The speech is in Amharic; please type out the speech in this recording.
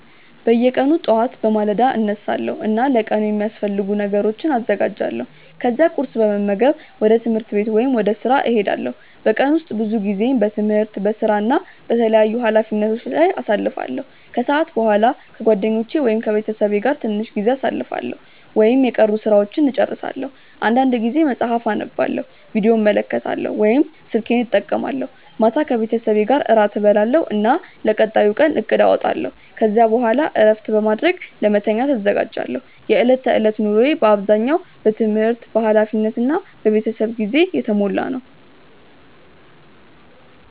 በየቀኑ ጠዋት በማለዳ እነሳለሁ እና ለቀኑ የሚያስፈልጉ ነገሮችን አዘጋጃለሁ። ከዚያ ቁርስ በመመገብ ወደ ትምህርት ወይም ወደ ሥራ እሄዳለሁ። በቀን ውስጥ ብዙ ጊዜዬን በትምህርት፣ በሥራ እና በተለያዩ ኃላፊነቶች ላይ አሳልፋለሁ። ከሰዓት በኋላ ከጓደኞቼ ወይም ከቤተሰቤ ጋር ትንሽ ጊዜ አሳልፋለሁ ወይም የቀሩ ሥራዎችን እጨርሳለሁ። አንዳንድ ጊዜ መጽሐፍ አነባለሁ፣ ቪዲዮ እመለከታለሁ ወይም ስልኬን እጠቀማለሁ። ማታ ከቤተሰቤ ጋር እራት እበላለሁ እና ለቀጣዩ ቀን እቅድ አወጣለሁ። ከዚያ በኋላ እረፍት በማድረግ ለመተኛት እዘጋጃለሁ። የዕለት ተዕለት ኑሮዬ በአብዛኛው በትምህርት፣ በኃላፊነት እና በቤተሰብ ጊዜ የተሞላ ነው።